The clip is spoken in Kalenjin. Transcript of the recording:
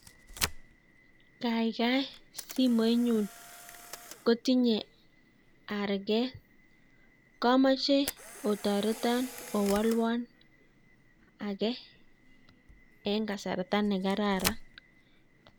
Kaigai simoinyun kotinye arikee ,komoche otoreton owolwon en kasartaa nekararan